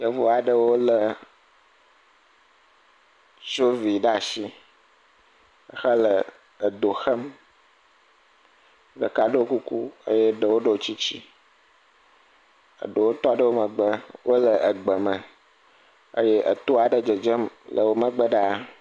Yevu aɖewo le sovi ɖe asi hele edo xem. Ɖeka ɖo kuku eye ɖewo ɖo tsitsi. Eɖewo tɔ ɖe wo megbe wo le egbe me eye wto aɖe dzedzem le wo megbe ɖaa.